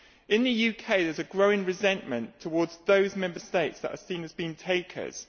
In the UK, there is a growing resentment towards those Member States that are seen as being takers.